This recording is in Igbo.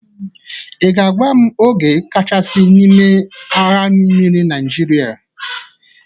Ị ga-agwa m ogo kachasị n'ime agha mmiri Nịajịrịa?